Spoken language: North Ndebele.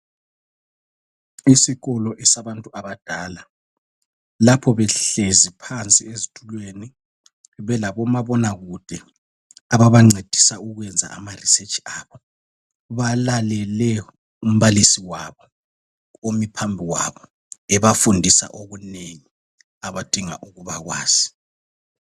Isikolo esabantu abadala lapho behlezi phansi ezitulweni belabomabonakude ababancedisa ukwenza ma risetshi abo. Balalele umbalisi wabo omi phambi kwabo ebafundisa okunengi abadinga ukuba kwazi.